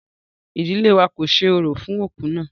Rárá, ìdílé wa kò ṣe orò fún òkú náà.